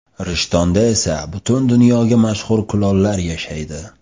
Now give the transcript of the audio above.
Rishtonda esa butun dunyoga mashhur kulollar yashaydi.